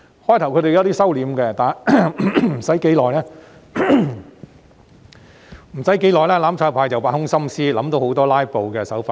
他們在一開始時收斂了一點，但沒有多久後，"攬炒派"便挖空心思，想到很多"拉布"的手法。